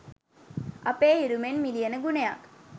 අපේ හිරු මෙන් මිලියන ගුණයක්